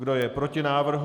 Kdo je proti návrhu?